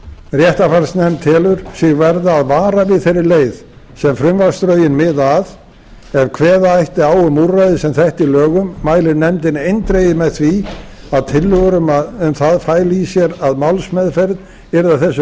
réttarfarsnefnd telur sig verða að vara við þeirri leið sem frumvarpsdrögin miða að ef kveða ætti á um úrræði sem þetta í lögum mælir nefndin eindregið með því að tillögur um það fælu í sér að málsmeðferð yrði að þessu